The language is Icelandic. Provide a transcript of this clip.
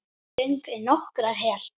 Ég geng í nokkrar hel